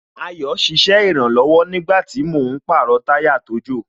Ayo ṣiṣẹ́ ìrànlọ̀wọ̀ nígbàtí mò ń pàrọ̀ táyà tó jò